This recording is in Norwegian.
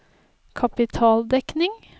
kapitaldekning